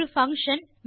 ஒரு பங்ஷன்